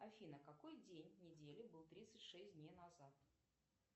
афина какой день недели был тридцать шесть дней назад